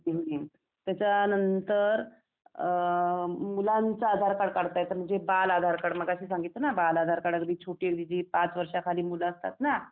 हं हं त्याच्या नंतर अ मुलांच्या आधार कार्ड काढता येत, म्हणजे बाल आधार कार्ड मगाशी सांगितल ना बाल आधार कार्ड अगदी छोटी अगदी जी पाच वर्षा खालील मुलं असतात ना